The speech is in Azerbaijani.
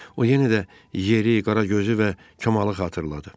O yenə də yeri, qara gözü və Kamalı xatırladı.